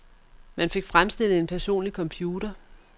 Man fik fremstillet en personlig computer.